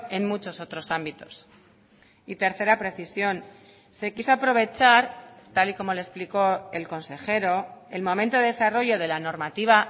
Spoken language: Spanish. en muchos otros ámbitos y tercera precisión se quiso aprovechar tal y como le explicó el consejero el momento de desarrollo de la normativa